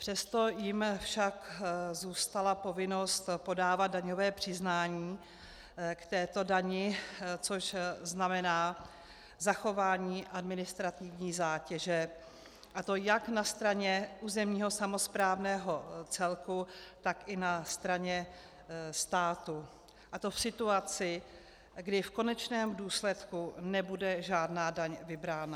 Přesto jim však zůstala povinnost podávat daňové přiznání k této dani, což znamená zachování administrativní zátěže, a to jak na straně územního samosprávného celku, tak i na straně státu, a to v situaci, kdy v konečném důsledku nebude žádná daň vybrána.